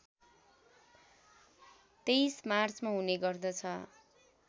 २३ मार्चमा हुने गर्दछ